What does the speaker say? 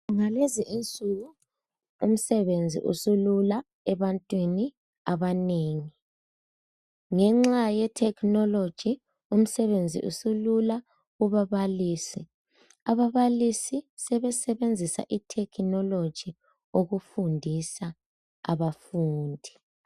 Ngalezi insuku umsebenzi usulula ebantwini abanengi. Ngenxa ye"technology" umsebenzi usulula kuba balisi. Ababalisi sebe sebenzisa i"technology " ukufundisa abafundi.